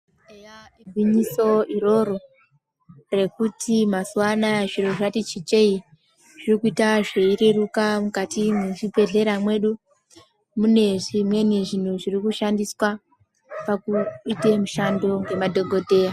Eya gwinyiso iroro rekuti mazuva anawa zviro zvatichinjei Zviri kuita zveireruka mukati mezvibhedhlera medu mune zvimweni zvekushandisa pakuita madhokodheya.